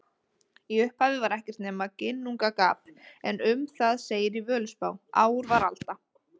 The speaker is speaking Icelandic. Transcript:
Í upphafi var ekkert nema Ginnungagap en um það segir í Völuspá: Ár var alda,